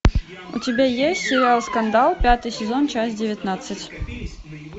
у тебя есть сериал скандал пятый сезон часть девятнадцать